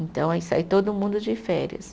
Então, aí sai todo mundo de férias.